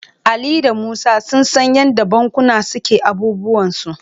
Ali da Musa sun san yadda bankuna suke abubuwansu..